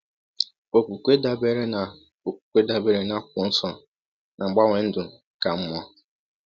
Okwukwe dabeere na akwụkwọ dabeere na akwụkwọ nsọ na-agbanwe ndụ ka mma